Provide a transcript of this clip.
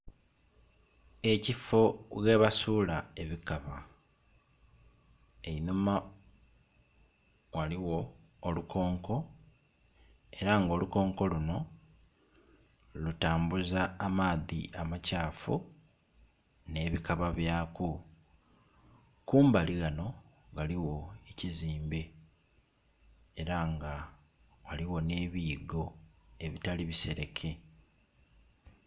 Ekifo ghebasuula ebikaba, einhuma ghaligho olukonko, era nga olukonko luno lutambuza amaadhi amakyafu ne bikaba byaku. Kumbali ghano ghaliwo ekizimbe, era nga ghaligho n'ebiyigo ebitali bisereke.